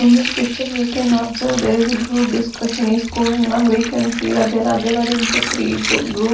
in this picture we can observe there is a group discussion is going on we can see that there are divided into three du groups.